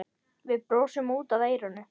Við brosum út að eyrum.